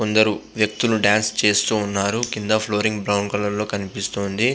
కొనదు వక్తులు డాన్సులు చేస్తూ ఉనారు బ్రౌన్ కలర్ ఉనాది.